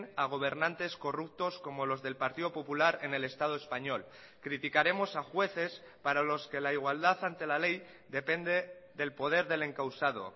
a gobernantes corruptos como los del partido popular en el estado español criticaremos a jueces para los que la igualdad ante la ley depende del poder del encausado